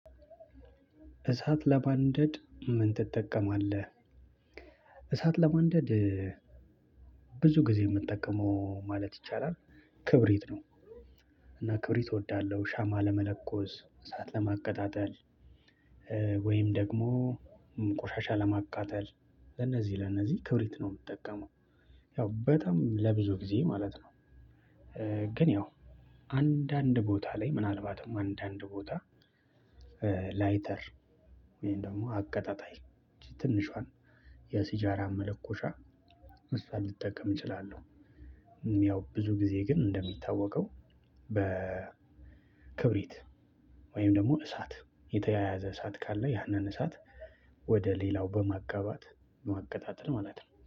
እሳት ለማንደድ ምን ትጠቀማለህ? እሳት ለማንደድ ብዙ ጊዜ የእምጠቀመው ማለት ይቻላል ክብሪት ነው። እና ክብሪት እወዳለሁ ሻማ ለመለኮስ እሳት ለማቀጣጠል። ወይም ደግሞ ቆሻሻ ለማቃጠል ለነዚህ ለነዚህ ክብሪት ነው እምጠቀመው። ያው በጣም ለብዙ ጊዜ ማለት ነው። ያው አንዳንድ ቦታ ላይ ምናልባትም አንዳንድ ቦታ ላይተር ወይም ደግሞ አቀጣጣይ ትንሿን የሲጃራ መለኮሻ እሷን ልጠቀም እችላለሁ። ያው ብዙ ጊዜ ግን እንደሚታወቀው በ ወይም ደግሞ እሳት የተያያዘ እሳት ካለ ያንን እሳት ወደ ሌላው በማጋባት ማቀጣጠል ማለት ነው